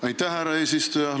Aitäh, härra eesistuja!